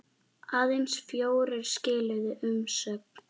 Aðeins fjórir skiluðu umsögn.